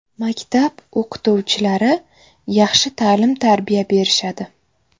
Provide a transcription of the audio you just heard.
Maktab o‘qituvchilari yaxshi ta’lim-tarbiya berishadi.